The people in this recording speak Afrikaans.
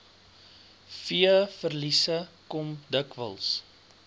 veeverliese kom dikwels